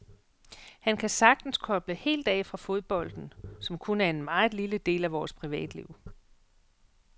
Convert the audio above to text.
Han kan sagtens koble helt af fra fodbolden, som kun er en meget lille del af vores privatliv.